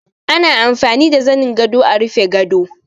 Ana amfani da zanin gado a rufe gado